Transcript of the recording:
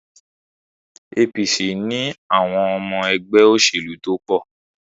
APC ni àwọn ọmọ ẹgbẹ́ òṣèlú tó pọ̀.